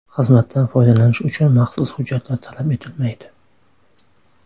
Xizmatdan foydalanish uchun maxsus hujjatlar talab etilmaydi.